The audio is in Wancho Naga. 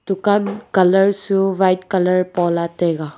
dukan colour su white pola taiga.